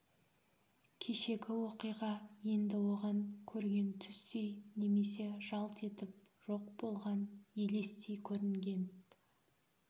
кешегі оқиға енді оған көрген түстей немесе жалт етіп жоқ болған елестей көрінген